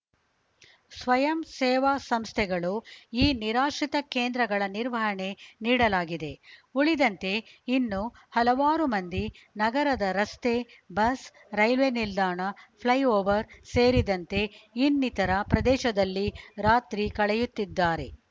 ಸ್ವಯಂ ಸೇವಾ ಸಂಸ್ಥೆಗಳು ಈ ನಿರಾಶ್ರಿತ ಕೇಂದ್ರಗಳ ನಿರ್ವಹಣೆ ನೀಡಲಾಗಿದೆ ಉಳಿದಂತೆ ಇನ್ನು ಹಲವಾರು ಮಂದಿ ನಗರದ ರಸ್ತೆ ಬಸ್‌ ರೈಲ್ವೆ ನಿಲ್ದಾಣ ಫ್ಲೈಓವರ್‌ ಸೇರಿದಂತೆ ಇನ್ನಿತರ ಪ್ರದೇಶದಲ್ಲಿ ರಾತ್ರಿ ಕಳೆಯುತ್ತಿದ್ದಾರೆ